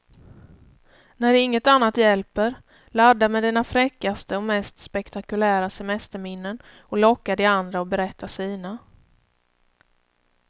När inget annat hjälper, ladda med dina fräckaste och mest spektakulära semesterminnen och locka de andra att berätta sina.